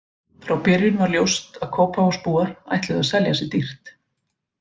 Frá byrjun var ljóst að Kópavogsbúar ætluðu að selja sig dýrt.